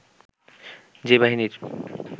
যে বাহিনীর